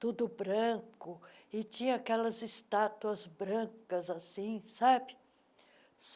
tudo branco, e tinha aquelas estátuas brancas assim, sabe?